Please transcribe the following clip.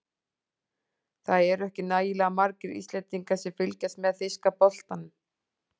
Það eru ekki nægilega margir Íslendingar sem fylgjast með þýska boltanum.